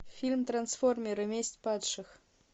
фильм трансформеры месть падших